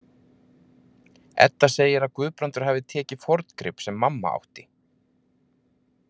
Edda segir að Guðbrandur hafi tekið forngrip sem mamma átti.